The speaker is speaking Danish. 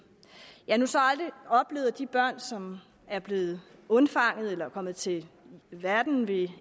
jeg har så aldrig oplevet at de børn som er blevet undfanget eller er kommet til verden ved